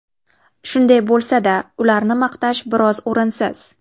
Shunday bo‘lsa-da, ularni maqtash biroz o‘rinsiz.